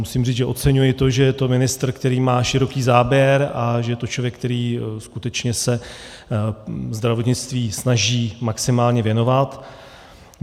Musím říct, že oceňuji to, že je to ministr, který má široký záběr, a že je to člověk, který skutečně se zdravotnictví snaží maximálně věnovat.